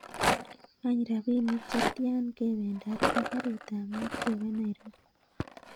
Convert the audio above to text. Any rapinik chetian kebendat ak garit ab maat keba nairobi